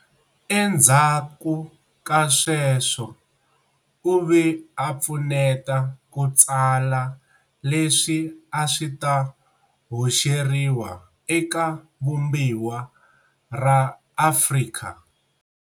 Endzhaku ka sweswo u ve a pfuneta ku tsala leswi a swi ta hoxeriwa eka vumbiwa ra Afrika